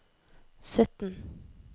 sytten